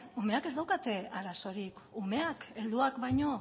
umeak ez daukate arazorik umeak helduak baino